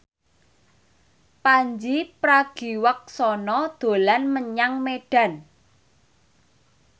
Pandji Pragiwaksono dolan menyang Medan